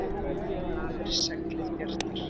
Í blæ lafir seglið bjarta.